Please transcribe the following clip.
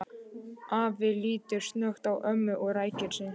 Afi lítur snöggt á ömmu og ræskir sig.